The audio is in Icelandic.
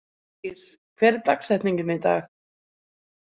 Hofdís, hver er dagsetningin í dag?